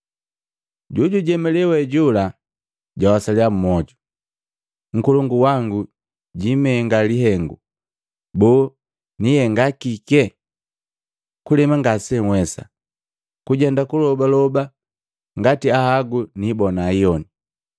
Jojujemalee we jola jawasaliya mmoju, ‘Nkolongu wangu jiimenga lihengu. Boo, niihenga kike? Kulema ngasenhwesa, kujenda kulobaloba ngati nhagu niibona iyoni.